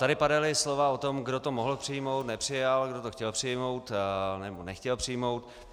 Tady padala slova o tom, kdo to mohl přijmout, nepřijal, kdo to chtěl přijmout, nebo nechtěl přijmout.